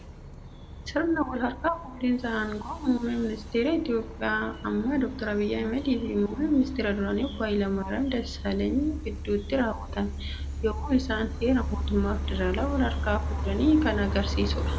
Sirna wal harkaa fuudhinsa aangoo muummee ministara Itiyoophiyaa ammaa Dooktar Abiyyi Ahmadiifi muummee ministara duraanii obbo Hayila Maariyaam Dassaaleeny gidduutti raawwatame. Yemmuu isaan heera mootummaa federaalaa wal harkaa fuudhan agarsiisa.